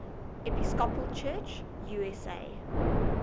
episcopal church usa